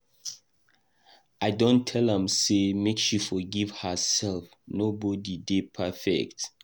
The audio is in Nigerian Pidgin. I don tell am sey make she forgive herself, nobodi dey perfect.